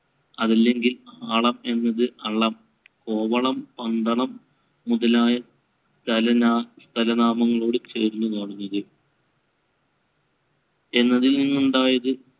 അതല്ലെങ്കിൽ ആളം എന്നത് അളം. കോവളം, പന്തളം മുതലായ സ്ഥലനാ~ സ്ഥലനാമങ്ങളോട് ചേർന്ന് എന്നതിൽനിന്ന് ഉണ്ടായത്.